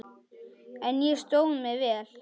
En ég stóð mig vel.